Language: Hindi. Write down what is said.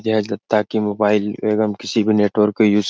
ये है दत्ता की मोबाइल एवं किसी भी नेटवर्क को यूज --